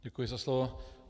Děkuji za slovo.